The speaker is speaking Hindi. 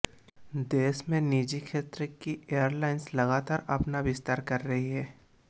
देश में निजी क्षेत्र की एयरलाइंस लगातार अपना विस्तार कर रही हैं